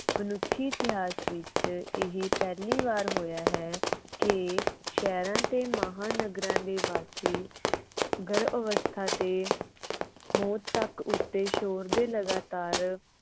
ਮਨੁੱਖੀ ਇਤਿਹਾਸ ਵਿਚ ਇਹ ਪਹਿਲੀ ਵਾਰ ਹੋਇਆ ਹੈ ਕਿ ਸ਼ਹਿਰਾਂ ਤੇ ਮਹਾਨਗਰਾਂ ਦੇ ਵਾਸੀ ਗਰਭ ਅਵਸਥਾ ਤੇ ਮੌਤ ਤੱਕ ਉਸਦੇ ਸ਼ੋਰ ਦੇ ਲਗਾਤਾਰ